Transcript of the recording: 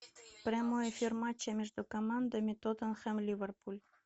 прямой эфир матча между командами тоттенхэм ливерпуль